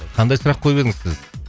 қандай сұрақ қойып едіңіз сіз